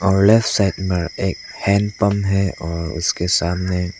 और left side में एक हैंडपंप है और उसके सामने--